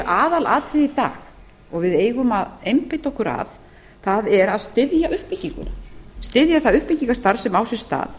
aðalatriði í dag og við eigum að einbeita okkur að það er að styðja uppbygginguna styðja það uppbyggingarstarf sem á sér stað